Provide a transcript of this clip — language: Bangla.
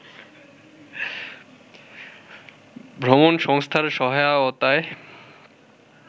ভ্রমণ সংস্থার সহায়তায়